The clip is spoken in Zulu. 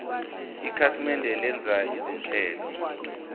ikhasimende lenza izinhlelo